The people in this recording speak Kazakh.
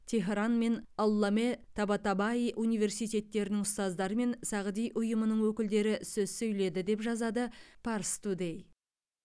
теһран мен алламе табатабай университеттерінің ұстаздары мен сағди ұйымының өкілдері сөз сөйледі деп жазады парстудэй